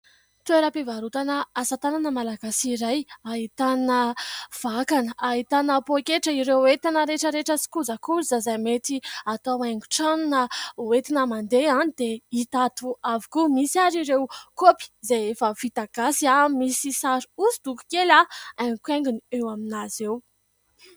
Toeram-pivarotana asatanana malagasy iray ahitana vakana, ahitana poketra, ireo entana rehetra rehetra sy kojakoja izay mety atao haingotrano na ho entina mandeha dia hita ato avokoa. Misy ary ireo kopy izay efa vita gasy aho misy sary hosodoko kely haingokaigony eo amin'azy eo.